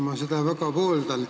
Ma seda väga pooldan.